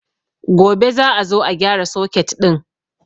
Gobe za a zo a gyara soket ɗin